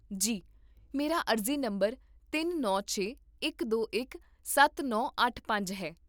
ਜੀ, ਮੇਰਾ ਅਰਜ਼ੀ ਨੰਬਰ ਤਿੰਨ ਨੌ ਛੇ, ਇਕ ਦੋ ਇਕ, ਸੱਤ ਨੌ ਅੱਠ ਪੰਜ ਹੈ